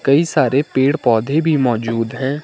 कई सारे पेड़ पौधे भी मौजूद हैं।